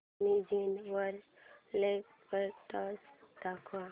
Amazon वर laptops दाखव